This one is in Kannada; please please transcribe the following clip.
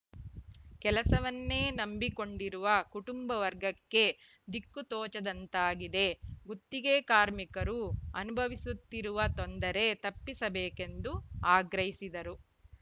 ಕೆಲಸವನ್ನೇ ನಂಬಿಕೊಂಡಿರುವ ಕುಟುಂಬ ವರ್ಗಕ್ಕೆ ದಿಕ್ಕು ತೋಚದಂತಾಗಿದೆ ಗುತ್ತಿಗೆ ಕಾರ್ಮಿಕರು ಅನುಭವಿಸುತ್ತಿರುವ ತೊಂದರೆ ತಪ್ಪಿಸಬೇಕೆಂದು ಆಗ್ರಹಿಸಿದರು